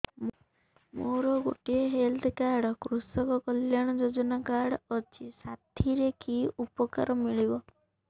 ମୋର ଗୋଟିଏ health card କୃଷକ କଲ୍ୟାଣ ଯୋଜନା କାର୍ଡ ଅଛି ସାଥିରେ କି ଉପକାର ମିଳିବ